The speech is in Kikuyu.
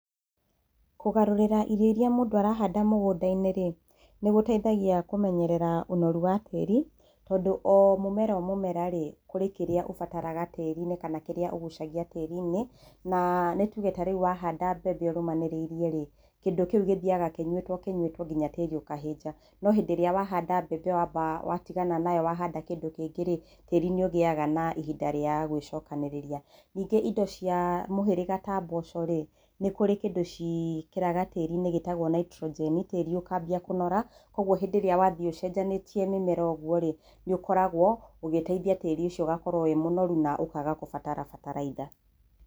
Kũgarũrĩra irio iria mũndũ arahanda mũgũnda-inĩ rĩ, nĩgũtaithagia kũmenyerera ũnoru wa tĩri, tondũ omũmera omũmera rĩ, kũrĩ kĩrĩa ũbataraga tĩri-inĩ kana kĩrĩa ũgucagia tĩri-inĩ, na nĩtuge tarĩu wahanda mbembe ũrũmanĩrĩirie rĩ, kĩndũ kĩu gĩthiaga kĩnyuĩtwo kĩnyuĩtwo nginya tĩri ũkahĩnja. No hĩndĩ ĩrĩa wahanda mbembe wamba watigana nayo wamba wahanda kĩnũ kĩngĩ rĩ, tĩri nĩũgĩaga na ihinda rĩa gwĩcokanĩrĩria. Ningĩ indo cia mũhĩrĩga ta mboco rĩ, nĩkũrĩ kĩndũ ciĩkĩraga tĩri-inĩ gĩtagwo Naitũrũnjeni tĩri ũkambia kũnora, koguo hĩndĩ ĩrĩa wathiĩ ũcenjanĩtie mĩmera ũguo rĩ, nĩũkoragwo ũgĩtaithia tĩri ũcio ũgakorwo wĩ mũnoru na ũkaga gũbatara bataraitha.